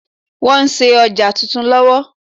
Wọ́n ń ṣe ọjà titun lọ́wọ́.